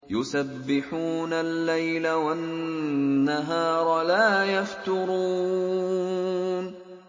يُسَبِّحُونَ اللَّيْلَ وَالنَّهَارَ لَا يَفْتُرُونَ